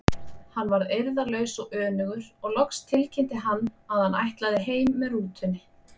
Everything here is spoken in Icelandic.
Hann varð eirðarlaus og önugur og loks tilkynnti hann að hann ætlaði heim með rútunni.